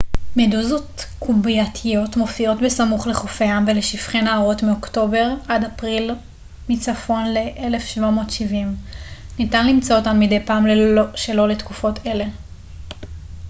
מדוזות קובייתיות מופיעות בסמוך לחופי ים ולשפכי נהרות מאוקטובר עד אפריל מצפון ל-1770 ניתן למצוא אותן מדי פעם שלא לתקופות אלה